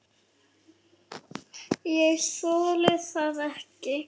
Ég þoli það ekki